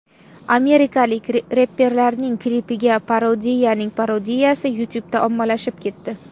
Amerikalik reperlarning klipiga parodiyaning parodiyasi YouTube’da ommalashib ketdi.